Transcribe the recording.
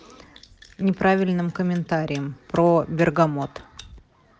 неправильным комментариям про бергамот